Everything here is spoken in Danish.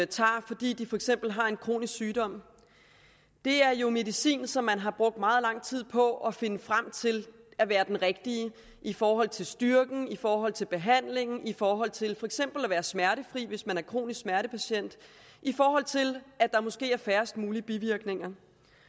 tager fordi de for eksempel har en kronisk sygdom er jo medicin som man har brugt meget lang tid på at finde frem til er den rigtige i forhold til styrken i forhold til behandlingen i forhold til for eksempel at være smertefri hvis man er kronisk smertepatient i forhold til at der måske er færrest mulige bivirkninger